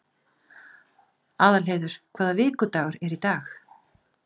Aðalheiður, hvaða vikudagur er í dag?